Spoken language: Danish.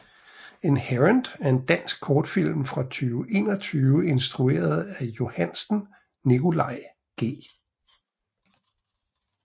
Inherent er en dansk kortfilm fra 2021 instrueret af Johansen Nicolai G